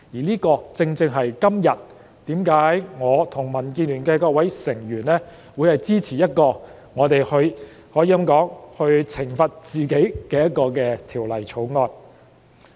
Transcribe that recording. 正因如此，今日我和民建聯的各位成員會支持這項可以說是懲罰自己的《條例草案》。